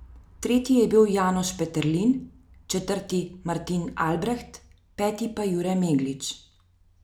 Tretji je bil Janoš Peterlin, četrti Martin Albreht, peti pa Jure Meglič.